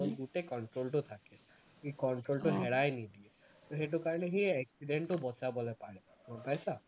গোটেই control টো থাকে সি control টো হেৰাই নিদিয়ে তো সেইটো কাৰণে সি accident টো বচাবলে পাৰে, গম পাইছা